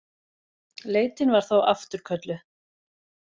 Leitin var þá afturkölluð